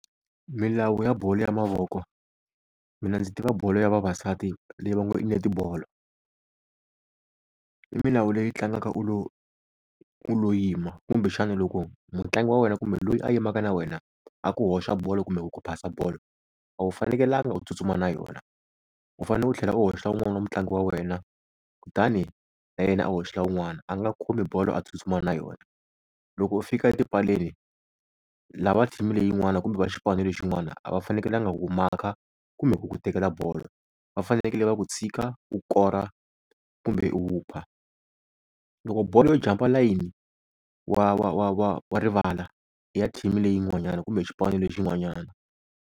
Milawu ya bolo ya mavoko, mina ndzi tiva bolo ya vavasati leyi va ngo i netibolo. I milawu leyi tlangaka u lo u lo yima kumbexana loko mutlangi wa wena kumbe loyi a yimaka na wena a ku hoxa bolo kumbe ku ku phasa bolo, a wu fanekelanga u tsutsuma na yona u fanele u tlhela u hoxa wun'wani wa mutlangi wa wena kutani na yena a hoxa wun'wana, a nga khomi bolo a tsutsuma na yona. Loko u fika etipaleni lava team leyin'wana kumbe va xipano lexin'wana a va fanekelanga ku ku maka kumbe ku ku tekela bolo, va fanekele va ku tshika u kora kumbe u hupa. Loko bolo yo jampa layini wa wa wa wa wa rivala ya team leyin'wanyana kumbe xipano lexin'wanyana.